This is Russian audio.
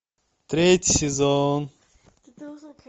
третий сезон